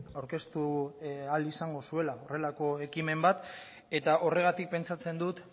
aurkeztu ahal izango zuela horrelako ekimen bat eta horregatik pentsatzen dut